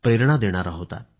प्रेरणा देणारा होता